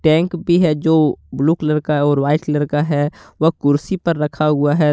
Tank भी है जो ब्लू कलर का है और व्हाइट कलर है वह कुर्सी पर रखा हुआ है।